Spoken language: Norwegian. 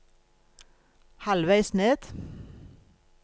halvveis ned